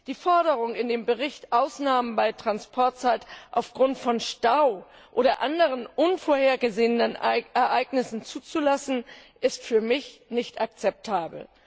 Die Forderungen in dem Bericht, Ausnahmen bei den Transportzeiten aufgrund von Staus oder anderen unvorhergesehenen Ereignissen zuzulassen, sind für mich nicht akzeptabel.